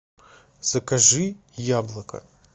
закажи яблоко